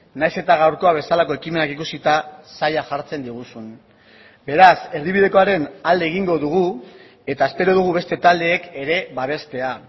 nahiz eta gaurkoa bezalako ekimenak ikusita zaila jartzen diguzun beraz erdibidekoaren alde egingo dugu eta espero dugu beste taldeek ere babestea